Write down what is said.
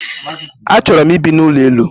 A chọrọ m I bi n'ụlọelu.